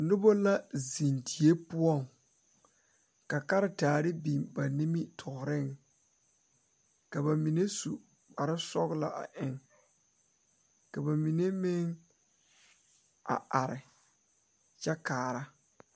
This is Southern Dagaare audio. Noba la zeŋ die poɔ ane bibiiri la ka bondire a kabɔɔti poɔ ka talaare be a be poɔ kaa kodo vaare meŋ be a be kaa bie kaŋa a iri gaŋe a are kyɛ kaare.